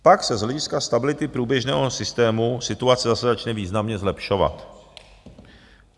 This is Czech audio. Pak se z hlediska stability průběžného systému situace zase začne významně zlepšovat.